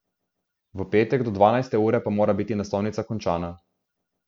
V petek do dvanajste ure pa mora biti naslovnica končana.